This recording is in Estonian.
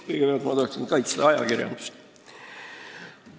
Kõigepealt ma tahan kaitsta ajakirjandust.